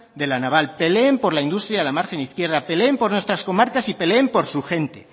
de la naval peleen por la industria de la margen izquierda peleen por nuestras comarcas y peleen por su gente